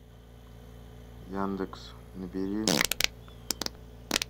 яндекс набери